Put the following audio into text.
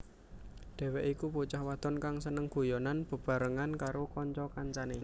Dheweké iku bocah wadon kang seneng guyonan bebarengan karo kanca kancané